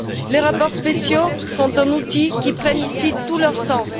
Les rapports spéciaux sont un outil qui prend ici tout leur sens.